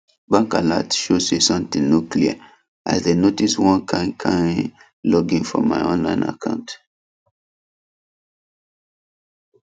bank alert show say something no clear as dem notice one kin kin login for my online account